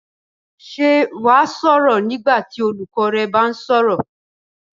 Ṣé wà á sọ̀rọ̀ nígbà tí olùkọ́ rẹ bá ń sọ̀rọ̀?